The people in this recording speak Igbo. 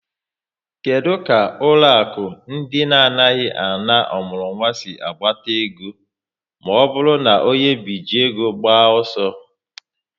Kedụ ka ụlọaku ndị na-anaghị ana ọmụrụnwa sị agbata ego maọbụru na onye bije ego gbaa ọsọ?